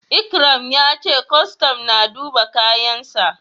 Ikram ya ce kwastam na duba kayansa.